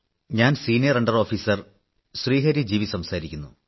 ഞാൻ senior under officer Hari G V സംസാരിക്കുന്നു